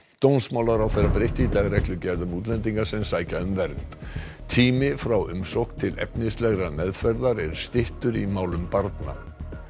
dómsmálaráðherra breytti í dag reglugerð um útlendinga sem sækja um vernd tími frá umsókn til efnislegrar meðferðar er styttur í málum barna